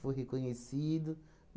reconhecido.